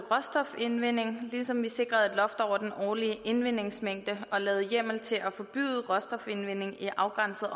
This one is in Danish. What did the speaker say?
råstofindvinding ligesom vi sikrede et over den årlige indvindingsmængde og lavede hjemmel til at forbyde råstofindvinding i afgrænsede